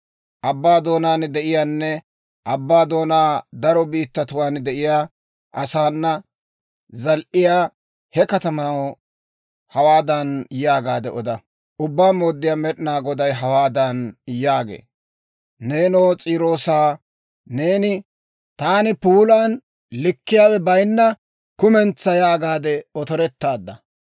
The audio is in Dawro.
Abbaa doonaan de'iyaanne abbaa doonaa daro biittatuwaan de'iyaa asaana zal"iyaa, he katamaw hawaadan yaagaade oda; ‹Ubbaa Mooddiyaa Med'inaa Goday hawaadan yaagee; «Neenoo S'iiroosaa, neeni, taani puulan likketiyaawe bayinna kumentsa yaagaade otorettaadda.